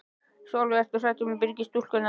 Sólveig: Ertu hrædd um Byrgis-stúlkurnar?